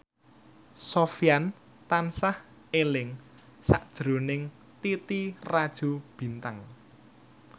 Sofyan tansah eling sakjroning Titi Rajo Bintang